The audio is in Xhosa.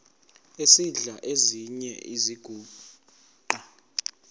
esidl eziny iziguqa